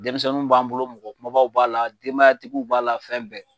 Denmisɛnninw b'an bolo mɔgɔ kumabaw b'a la denbayatigiw b'a la fɛn bɛɛ.